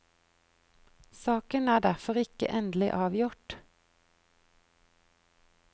Saken er derfor ikke endelig avgjort.